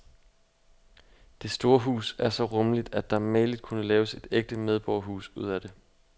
Det store hus er så rummeligt, at der mageligt kunne laves et ægte medborgerhus ud af det.